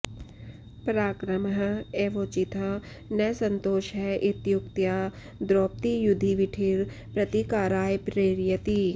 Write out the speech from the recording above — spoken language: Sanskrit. पराक्रमः एवोचितः न सन्तोषः इत्युक्त्या द्रौपदी युधिविठर प्रतीकाराय प्रेरयति